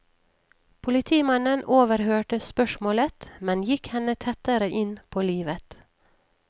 Politimannen overhørte spørsmålet men gikk henne tettere inn på livet.